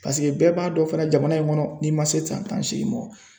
Paseke bɛɛ b'a dɔn fana jamana in kɔnɔ n'i man se san tan ni seegin mɔ